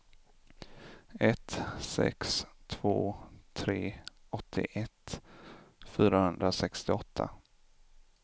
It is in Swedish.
ett sex två tre åttioett fyrahundrasextioåtta